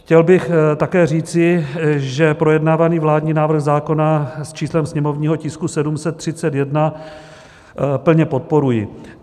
Chtěl bych také říci, že projednávaný vládní návrh zákona s číslem sněmovního tisku 731 plně podporuji.